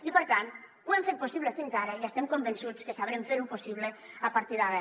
i per tant ho hem fet possible fins ara i estem convençuts que sabrem fer ho possible a partir d’ara